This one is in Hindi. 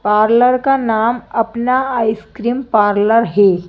पार्लर का नाम अपना आइसक्रीम पार्लर हैं।